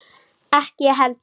Ekki ég heldur!